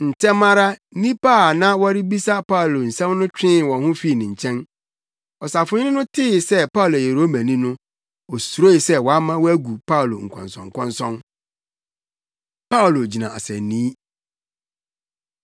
Ntɛm ara, nnipa a na wɔrebebisa Paulo nsɛm no twee wɔn ho fii ne nkyɛn. Ɔsafohene no tee sɛ Paulo yɛ Romani no, osuroe sɛ wama wɔagu Paulo nkɔnsɔnkɔnsɔn. Paulo Gyina Asennii